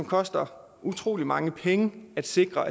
koster utrolig mange penge at sikre